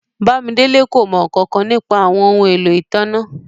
Bàmídélẹ̀ kò mọ nkankan nípa àwọn ọhun ẹ̀lọ́ itánná.